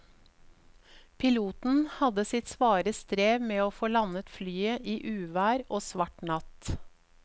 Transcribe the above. Piloten hadde sitt svare strev med å få landet flyet i uvær og svart natt.